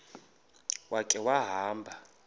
ya khe wahamba